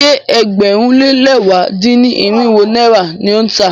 Ṣé ẹgbẹ̀rún lé lẹ̀wá dín-ní-irinwó náírà ni ó ń tà á?